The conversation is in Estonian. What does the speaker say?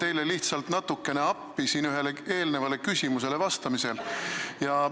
Ma tulen teile natukene appi ühele eelmisele küsimusele vastamisel.